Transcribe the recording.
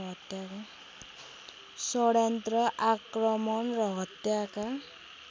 षड्यन्त्र आक्रमण र हत्याका